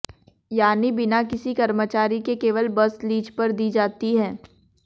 यानी बिना किसी कर्मचारी के केवल बस लीज पर दी जाती है